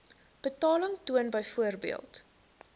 betaling toon byvoorbeeld